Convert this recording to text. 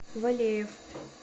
валеев